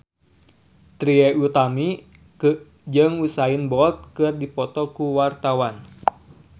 Trie Utami jeung Usain Bolt keur dipoto ku wartawan